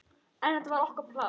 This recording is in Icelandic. En þetta var okkar pláss.